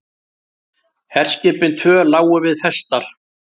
Herskipin tvö lágu við festar.